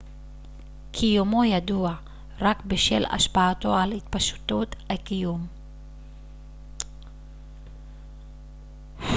קיומו ידוע רק בשל השפעתו על התפשטות היקום